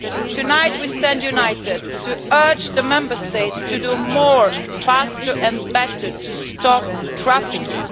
Tonight, we stand united to urge the Member States to do more, faster and better, to stop trafficking.